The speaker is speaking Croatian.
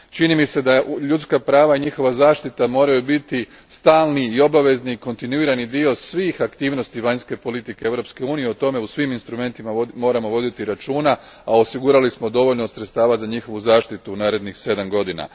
Čini mi se da ljudska prava i njihova zaštita moraju biti stalni i obavezni, kontinuirani dio svih aktivnosti vanjske politike Europske unije, o tome u svim instrumentima moramo voditi računa, a osigurali smo dovoljno sredstava za njihovu zaštitu u narednih sedam godina.